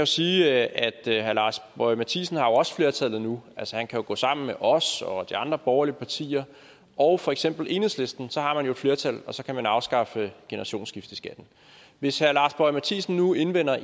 sige at herre lars boje mathiesen har jo også flertallet nu altså han kan gå sammen med os og de andre borgerlige partier og for eksempel enhedslisten så har man jo et flertal og så kan man afskaffe generationsskifteskatten hvis herre lars boje mathiesen nu indvender at